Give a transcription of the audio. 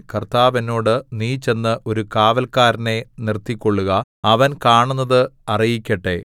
കർത്താവ് എന്നോട് നീ ചെന്ന് ഒരു കാവല്ക്കാരനെ നിർത്തിക്കൊള്ളുക അവൻ കാണുന്നത് അറിയിക്കട്ടെ